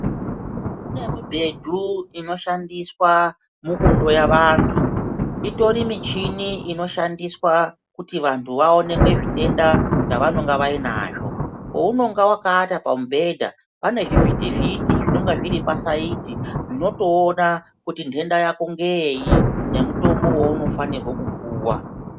Mune mibhedhu inoshandiswa mukuhloya vantu, itori michini inoshandiswa kuti vantu vaonekwe zvitenda zvavanenge vainazvo. Pounonga wakaata pamubhedha pane zvivhiti-vhiti zvinonga zviri pasaidhi zvinotoona kuti nhenda Yako ngeyei nemutombo wounofanirwe kupuwa.